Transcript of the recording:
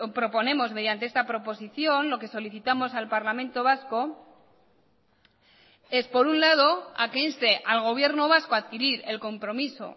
proponemos mediante esta proposición lo que solicitamos al parlamento vasco es por un lado a que inste al gobierno vasco a adquirir el compromiso